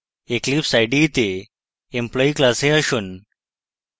eclipse ide তে employee class আসুন